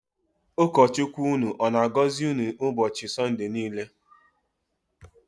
Ụkọ Chukwu ụnụ ọ na-agọzi unu n'ụbọchị Sọnde niile.